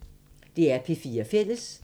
DR P4 Fælles